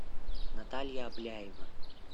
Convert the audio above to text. наталья обляева